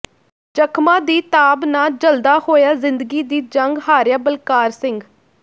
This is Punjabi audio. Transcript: ਜ਼ਖ਼ਮਾਂ ਦੀ ਤਾਬ ਨਾ ਝੱਲਦਾ ਹੋਇਆ ਜ਼ਿੰਦਗੀ ਦੀ ਜੰਗ ਹਾਰਿਆ ਬਲਕਾਰ ਸਿੰਘ